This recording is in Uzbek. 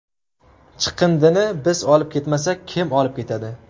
Chiqindini biz olib ketmasak, kim olib ketadi?